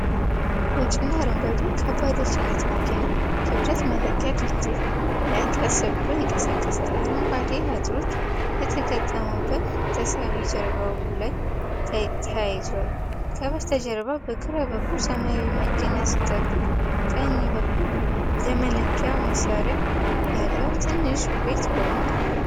ነጭና አረንጓዴ ከባድ የጭነት መኪና ክብደት መለኪያ ድልድይ ላይ ቀስ ብሎ ይንቀሳቀሳል። አረንጓዴ አጥሮች የተገጠሙበት ተሳቢ ጀርባው ላይ ተያይዟል። ከበስተጀርባ በግራ በኩል ሰማያዊ መኪና ሲጠብቅ፣ በቀኝ በኩል የመለኪያ መሣሪያ ያለው ትንሽ ቤት ቆሟል።